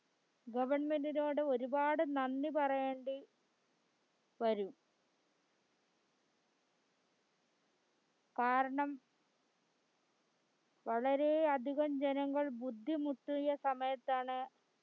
government ഇനോട് ഒരുപാട് നന്ദി പറയേണ്ടി വരും കാരണ വളരെയധികം ജനങ്ങൾബുദ്ധിമുട്ടിയ സമയത്താണ്